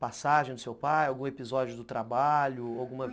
passagem do seu pai, algum episódio do trabalho?